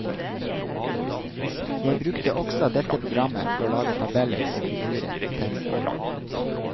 Jeg brukte også dette programmet for å lage tabeller og figurer i teksten.